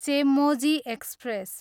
Chemmozhi express